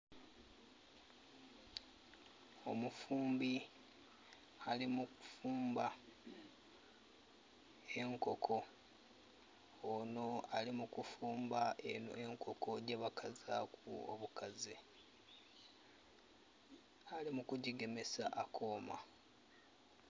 Omufumbi ali mu kufumba enkoko. Onho ali mu kufumba enkoko gyebakazaaku obukaze. Ali mukugyigemesa akooma.